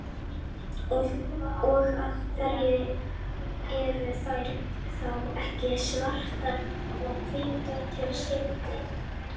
Og af hverju eru þær þá ekki svartar og hvítar til skiptis?